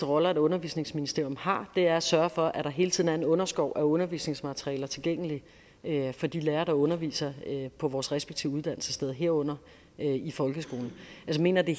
roller et undervisningsministerium har er at sørge for at der hele tiden er en underskov af undervisningsmaterialer tilgængelige for de lærere der underviser på vores respektive uddannelsessteder herunder i folkeskolen jeg mener det